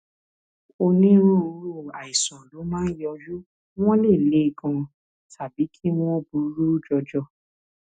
onírúurú àìsàn ló máa ń yọjú wọn lè le ganan tàbí kí wọn burú jọjọ